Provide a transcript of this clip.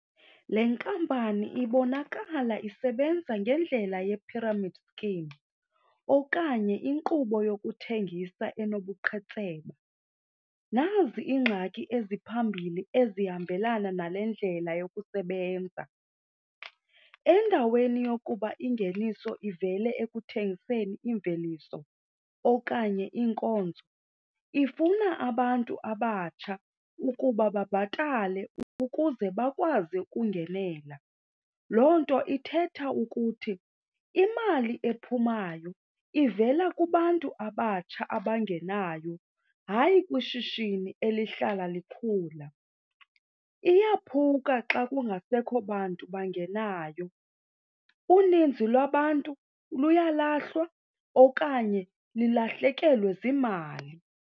Le nkampani ibonakala isebenza ngendlela ye-pyramid scheme okanye inkqubo yokuthengisa enobuqhetseba. Nazi iingxaki eziphambili ezihambelana nale ndlela yokusebenza. Endaweni yokuba ingeniso ivele ekuthengiseni iimveliso okanye iinkonzo, ifuna abantu abatsha ukuba babhatale ukuze bakwazi ukungenela. Loo nto ithetha ukuthi imali ephumayo ivela kubantu abatsha abangenayo, hayi kwishishini elihlala likhula. Iyaphuka xa kungasekho bantu bangenayo. Uninzi lwabantu luyalahlwa okanye lilahlekelwe ziimali.